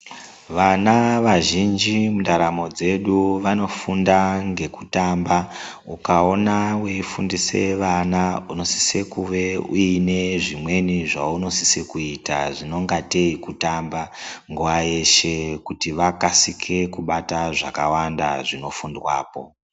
Vana vazhinji mundaramo dzedu vanofanira kufunda nekutamba ukaona weifundisa vana unosekuwe uine zvimweni zvaunosise kuita zvinonga kuitei kutamba nguva yeshe kuti vakasike kubata zvakawanda zvinofundwapo.